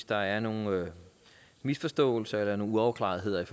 der er nogle misforståelser eller nogle uafklaretheder